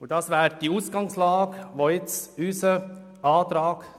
Auf dieser Ausgangslage basiert unser Antrag.